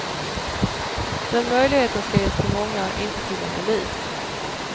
Den möjligheten ska ges till många, inte till en elit.